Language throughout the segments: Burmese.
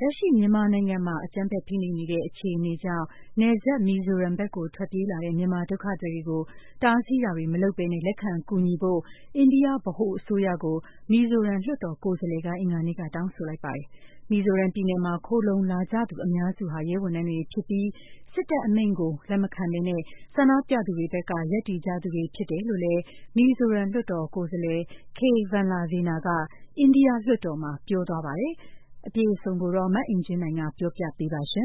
လက်ရှိမြန်မာနိုင်ငံမှာ အကြမ်းဖက်ဖိနှိပ်နေတဲ့အခြေအနေကြောင့် နယ်စပ် မီဇိုရမ်ဘက်ကို ထွက်ပြေးလာတဲ့ မြန်မာဒုက္ခသည်တွေကို တားဆီးတာတွေမလုပ်ပဲ လက်ခံကူညီဖို့ အိန္ဒိယ ဗဟိုအစိုးရကို မီဇိုရမ် လွှတ်တော်ကိုယ်စားလှယ်က အင်္ဂါနေ့က တောင်းဆိုလိုက်ပါတယ်။ မီဇိုရမ်ပြည်နယ်မှာခိုလှုံလာကြသူအများစုဟာ ရဲဝန်ထမ်းတွေဖြစ်ပြီး စစ်တပ်ရဲ့အမိန့်ကိုလက်မခံပဲ ဆန္ဒပြသူတွေဘက်က ရပ်တည်ကြသူတွေဖြစ်တယ်လို့လည်း မီဇိုရမ်လွှတ်တော်ကိုယ်စားလှယ် K.Vanlalvena က အိန္ဒိယလွှတ်တော်မှာ ပြောသွားပါတယ်။ မအင်ကြင်းနိုင်က အပြည့်အစုံ ဆက်လက်တင်ပြမှာပါ။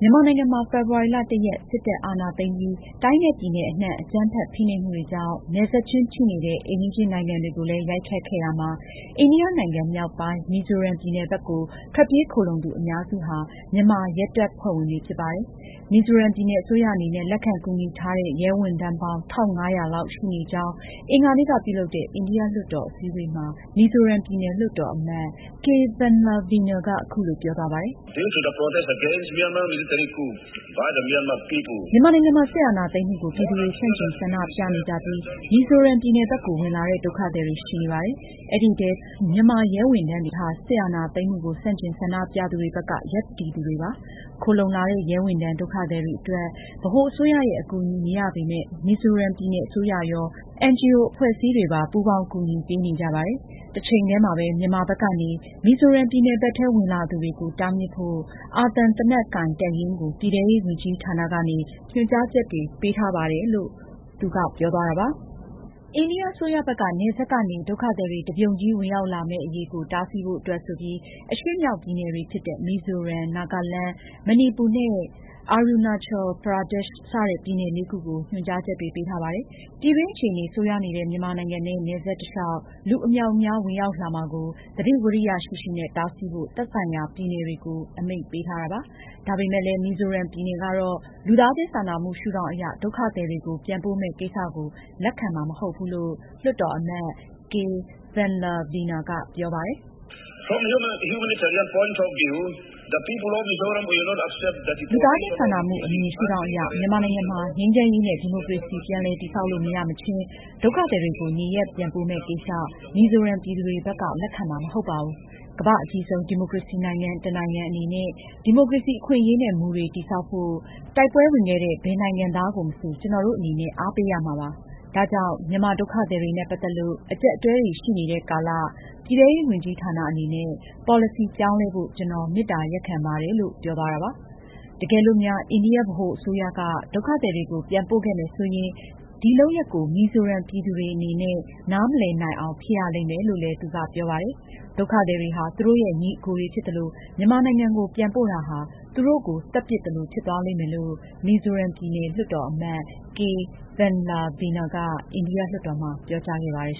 မြန်မာနိုင်ငံမှာ ဖေဖေါ်ဝါရီလ (၁)ရက်စစ်တပ်အာဏာသိမ်းပြီး တိုင်းနဲ့ ပြည်နယ်အနှံ့ အကြမ်းဖက် ဖိနှိပ်မှုတွေကြောင့် နယ်စပ်ချင်းထိနေတဲ့ အိမ်နီးချင်းနိုင်ငံတွေကိုလည်း ရိုက်ခတ်ခဲ့ရာမှာ အိန္ဒိယနိုင်ငံမြောက်ပိုင်း မီဇိုရမ်ပြည်နယ်ဘက်ကို ထွက်ပြေးခိုလှုံသူအများစုဟာ မြန်မာရဲတပ်ဖွဲ့ဝင်တွေဖြစ်ပါတယ်။ မီဇိုရမ်ပြည်နယ်အစိုးရအနေနဲ့ လက်ခံကူညီထားတဲ့ ရဲဝန်ထမ်းတွေ ရှိနေကြောင်း အင်္ဂါနေ့ကပြုလုပ်တဲ့ အိန္ဒိယလွှတ်တော်အစည်းအဝေးမှာ မီဇိုရမ်ပြည်နယ် လွှတ်တာ်အမတ် K.Vanlalvena က အခုလိုပြောသွားပါတယ်။ ”မြန်မာနိုင်ငံမှာ စစ်အာဏာသိမ်းမှုကို ပြည်သူတွေဆန့်ကျင်ဆန္ဒပြနေကြပြီး မီဇိုရမ်ပြည်နယ်ဘက်ကို ဝင်လာတဲ့ ဒုက္ခသည်တွေရှိနေပါတယ်။ အဲဒီထဲ မြန်မာရဲဝန်ထမ်းတွေဖြစ်နေပါတယ်။ သူတို့တွေဟာ စစ်အာဏာသိမ်းမှုကို ဆန့်ကျင်ဆန္ဒပြသူတွေဘက်က ရပ်တည်သူတွေဖြစ်ပါတယ်။ခိုလှုံလာတဲ့ ရဲဝန်ထမ်း ဒုက္ခသည်တွေအတွက် ဗဟိုအစိုးရရဲ့ အကူအညီမရပေမဲ့ မီဇိုရမ်ပြည်နယ်အစိုးရရော၊ NGO အဖွဲ့အစည်းတွေပါ ပူးပေါင်းကူညီပေးနေကြပါတယ်။ တချိန်တည်းမှာပဲမြန်မာဘက်ကနေ မီဇိုရမ်ပြည်နယ်ဘက်ထဲဝင်လာသူတွေကို တားမြစ်ဖို့ အာသံ သေနတ်ကိုင်တပ်ရင်းကို ပြည်ထဲရေးဝန်ကြီးဌာနကနေ ညွန်ကြားချက်တွေပေးခဲ့ပါတယ်။” အိန္ဒိယအစိုးရဘက်က နယ်စပ်ကနေ ဒုက္ခသည်တွေ တပြုံကြီးဝင်ရောက်လာမယ့်အရေးကို တားဆီးဖို့အတွက်ဆိုပြီး အရှေ့မြောက်ပြည်နယ် လေးခုဖြစ်တဲ့ မီဇိုရမ်၊ နာဂလန်း၊ မဏီပူနဲ့Arunachal Pradeshတွေဆီကို ညွန်ကြားချက်တွေပေးထားပါတယ်။ ပြည်တွင်းအခြေအနေ ဆိုးရွားနေတဲ့ မြန်မာနိုင်ငံနဲ့နယ်စပ်တလျောက် လူအမြောက်အများ ဝင်ရောက်လာမှာကို သတိဝီရိယရှိရှိနဲ့ တားဆီးဖို့ သက်ဆိုင်ရာ ပြည်နယ်တွေကို အမိန့်ပေးထားပါတယ်။ ဒါပေမယ့်လည်း မီဇိုရမ်ပြည်နယ်ကတော့ လူသားချင်းစာနာမှု ရှုထောင့်အရ ဒုက္ခသည်တွေကို ပြန်ပို့မယ်ကိစ္စကို တော့ လက်ခံမှာမဟုတ်ဘူးလို့ လွှတ်တာ်အမတ် K.Vanlalvena ကပြောပါတယ်။ " လူသားချင်းစာနာမှု အမြင်ရှုထောင့်အရ မြန်မာနိုင်ငံမှာ ငြိမ်းချမ်းရေးနဲ့ ဒီမိုကရေစီ ပြန်လည်တည်ဆောက်လို့ မရမချင်း ဒုက္ခသည်တွေကိုနေရပ်ပြန်ပို့မယ့်ကိစ္စ မီဇိုရမ်ပြည်သူတွေအနေနဲ့ လက်ခံမှာ မဟုတ်ပါဘူး။ ကမ္ဘာ့အကြီးဆုံး ဒီမိုကရေစီနိုင်ငံတနိုင်ငံအနေနဲ့ ဒီမိုကရေစီအခွင့်အရေးနဲ့ မူတွေ တည်ဆောက်ဖို့ တိုက်ပွဲဝင်ခဲ့တဲ့ ဘယ်နိုင်ငံသားကိုမဆို ကျနော်တို့ အနေနဲ့ အားပေးရမှာဖြစ်ပါတယ်။ ဒါကြောင့်မြန်မာဒုက္ခသည်တွေနဲ့ ပတ်သက်လို့ အကျပ်အတည်းတွေရှိနေတဲ့ကာလမှာ ပြည်ထဲရေးဝန်ကြီးဌာနအနေနဲ့ ပေါ်လစီပြောင်းလဲဖို့ ကျနော် မေတ္တာရပ်ခံပါတယ်။” တကယ်လို့များ အိန္ဒိယဗဟိုအစိုးရက ဒုက္ခသည်တွေကို ပြန်ပို့ခဲ့မယ်ဆိုရင် ဒီလုပ်ရပ်ကို မီဇိုရမ် ပြည်သူတွေအနေနဲ့ နားမလည်နိုင်အောင် ဖြစ်ရလိမ့်မယ်လို့လည်း သူက ပြောသွားပါတယ်။ ဒုက္ခသည်တွေဟာ သူတို့ရဲ့ ညီအကိုတွေဖြစ်သလို မြန်မာနိုင်ငံကို ပြန်ပို့တာဟာ သူတို့ကို သတ်ပစ်သလို ဖြစ်သွားလိမ့်မယ်လို့ မီဇိုရမ်ပြည်နယ် လွှတ်တာ်အမတ် K.Vanlalvena က အိန္ဒိယလွှတ်တော်မှာ ပြောကြားခဲ့ပါတယ်